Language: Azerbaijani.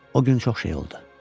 O gün çox şey oldu.